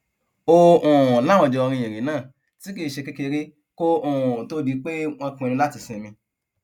ó um láwọn jọ rin ìrìn náà tí kì í ṣe kékeré kó um tóó di pé wọn pinnu láti sinmi